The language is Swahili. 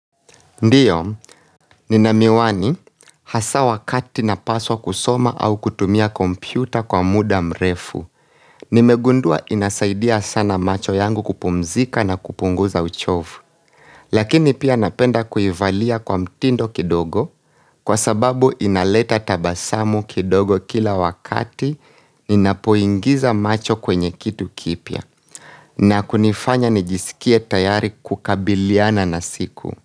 Ndio, nina miwani hasa wakati napaswa kusoma au kutumia kompyuta kwa muda mrefu. Nimegundua inasaidia sana macho yangu kupumzika na kupunguza uchovu. Lakini pia napenda kuivalia kwa mtindo kidogo kwa sababu inaleta tabasamu kidogo kila wakati ninapoingiza macho kwenye kitu kipya. Na kunifanya nijisikie tayari kukabiliana na siku.